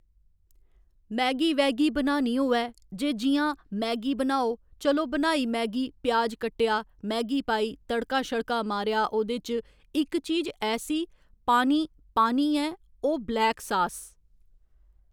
Maggi वैगी बनानी होए जे जि'यां मैगी बनाओ चलो बनाई मैगी प्याज कट्टेआ मैगी पाई तड़का शड़का मारेआ ओह्दे च इक चीज ऐसी पानी पानी ऐ ओह् ब्लैक सास